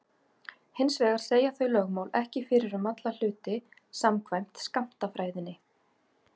Hins vegar segja þau lögmál ekki fyrir um alla hluti samkvæmt skammtafræðinni.